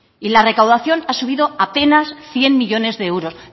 y la recaudación ha subido apenas cien millónes de euros